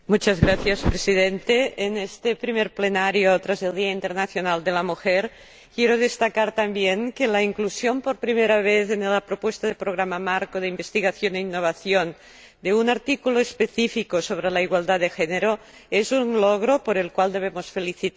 Señor Presidente, en este primera sesión plenaria tras el Día Internacional de la Mujer, quiero destacar también que la inclusión, por primera vez, en la propuesta del Programa Marco de Investigación e Innovación, de un artículo específico sobre la igualdad de género, es un logro por el cual debemos felicitarnos.